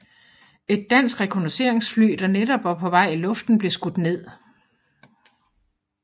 Et dansk rekognosceringsfly der netop var på vej i luften blev skudt ned